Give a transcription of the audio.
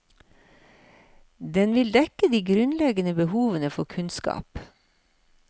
Den vil dekke de grunnleggende behovene for kunnskap.